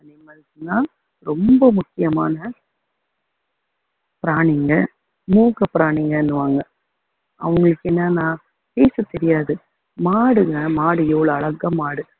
animals னா ரொம்ப முக்கியமான பிராணிங்க மூக்க பிராணிங்கன்னுவாங்க அவங்களுக்கு என்னன்னா பேசத்தெரியாது மாடுங்க மாடு எவ்வளவு அழகா மாடு